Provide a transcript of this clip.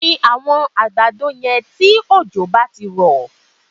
Gbin àwọn àgbàdo yẹn tí òjò gbá ti rọ̀